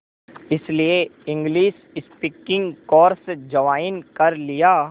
इसलिए English speaking course join कर लिया